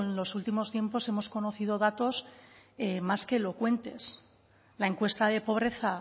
los últimos tiempos hemos conocido datos más que elocuentes la encuesta de pobreza